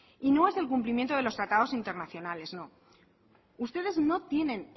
y no es el cumplimiento de los tratados internacionales no ustedes no tienen